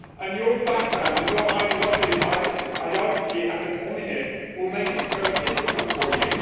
Your background and your ideology as a Communist will make this very difficult for you.